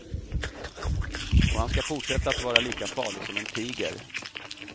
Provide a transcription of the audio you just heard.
Och han ska fortsätta att vara lika farlig som en tiger.